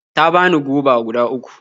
Ta bani goba guda uku.